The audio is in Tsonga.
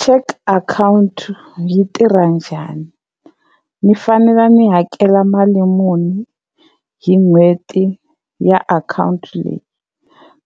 Cheque account yi tirha njhani? Ni fanele ni hakela mali muni hi n'hweti ya akhawunti leyi,